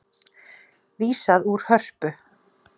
Vísað úr Hörpu